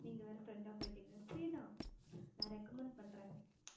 நீங்க வேற friend ஆ போயிட்டீங்க free தான் நான் recommend பண்றேன்